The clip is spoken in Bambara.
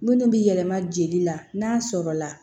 Minnu bɛ yɛlɛma jeli la n'a sɔrɔ la